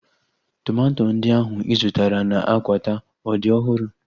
Tomato ndị ahu ị zụtara na Akwata ọ dị ọhụrụ?